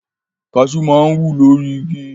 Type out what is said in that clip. Kaṣú máa ń wù lórí igi.